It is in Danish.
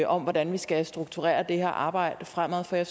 om hvordan vi skal strukturere det her arbejde fremadrettet